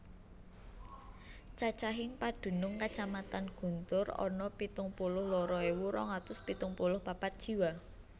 Cacahing padunung Kacamatan Guntur ana pitung puluh loro ewu rong atus pitung puluh papat jiwa